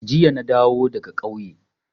Jiya na dawo daga ƙauye.